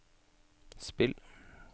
spill